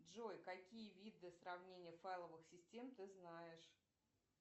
джой какие виды сравнения файловых систем ты знаешь